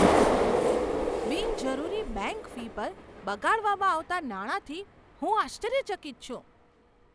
બિનજરૂરી bank fee પર બગાડવામાં આવતા નાણાંથી હું આશ્ચર્યચકિત છું.